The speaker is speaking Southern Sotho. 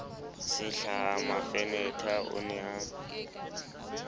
sehlahla mafenetha o ne a